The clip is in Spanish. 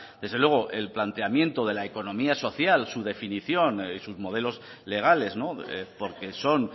desde luego el planteamiento de la economía social su definición y sus modelos legales porque son